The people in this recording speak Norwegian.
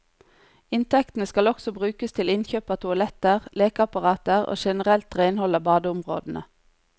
Inntektene skal også brukes til innkjøp av toaletter, lekeapparater og generelt renhold av badeområdene.